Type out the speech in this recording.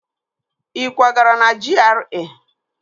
Ị kwagara na GRA?